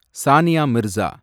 Sania Mirza